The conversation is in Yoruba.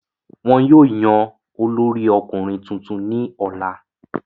wọn yóò yan olórí ọkùnrin tuntun ní ọ̀la